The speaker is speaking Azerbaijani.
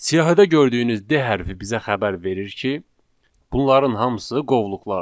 Siyahıda gördüyünüz D hərfi bizə xəbər verir ki, bunların hamısı qovluqlardır.